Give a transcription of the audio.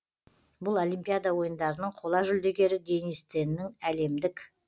бұл олимпиада ойындарының қола жүлдегері денис теннің әлемдік